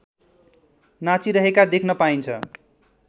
नाचिरहेका देख्न पाइन्छ